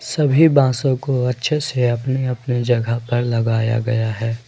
सभी बांसों को अच्छे से अपने अपने जगह पर लगाया गया है।